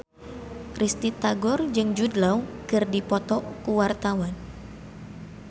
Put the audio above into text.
Risty Tagor jeung Jude Law keur dipoto ku wartawan